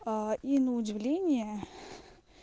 а и на удивление